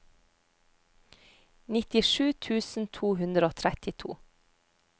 nittisju tusen to hundre og trettito